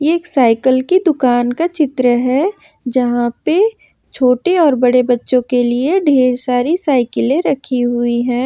एक साइकल की दुकान का चित्र है जहां पे छोटे और बड़े बच्चों के लिए ढेर सारी साइकिलें रखी हुई हैं।